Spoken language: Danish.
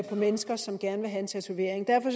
på mennesker som gerne vil have en tatovering derfor